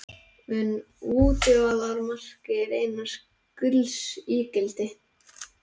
Mun útivallarmarkið reynast gulls ígildi?